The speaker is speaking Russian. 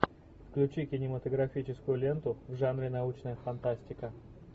включи кинематографическую ленту в жанре научная фантастика